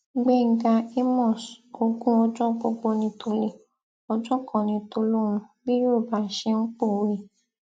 gbẹngà àmos ogun ọjọ gbogbo ní tòlé ọjọ kan ní tòlóhún bí yorùbá ṣe ń pòwé